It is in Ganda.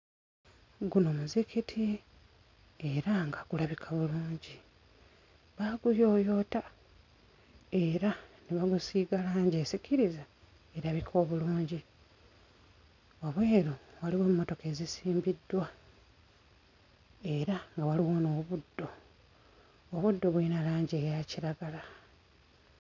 Guno muzikiti era nga gulabika bulungi baaguyooyoota era baagusiiga langi esikiriza erabika obulungi wabweru waliwo emmotoka ezisimbiddwa era nga waliwo n'obuddo obuddo buyina langi eya kiragala.